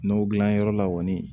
N'o dilan yɔrɔ la kɔni